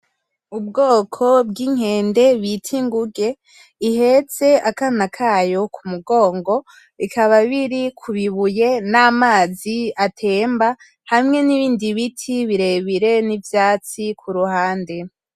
Ubwoko bwinkende bita Inguge ihetse akana kayo k’umugongo bikaba biri kubibuye n’amazi atemba hamwe n’ibindi biti birebire n’ivyatsi kuruhande